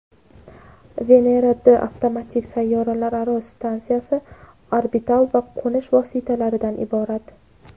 "Venera-D" avtomatik sayyoralararo stansiyasi orbital va qo‘nish vositalaridan iborat.